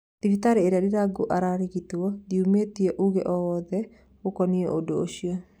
Thibitarĩ ĩrĩa Ndirango ararigitĩrũo ndĩumĩtie uuge o wothe ũkonie ũndũ ũcio